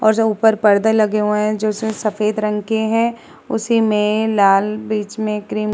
और जो ऊपर पर्दे लगे हुए हैं जो इसमें सफ़ेद रंग के हैं। उसी में लाल बीच में क्रीम --